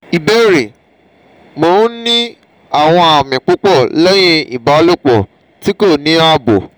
ìbéèrè: mo n ni awon ami pupo lehin ibalopo ti ko ni abo